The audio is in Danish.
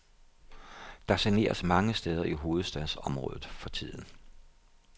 Der saneres mange steder i hovedstadsområdet for tiden.